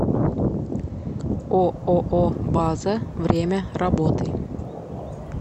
ооо база время работы